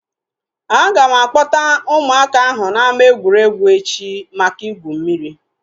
Aga m a kpọta ụmụaka ahụ na ama egwuregwu echi maka igwu mmiri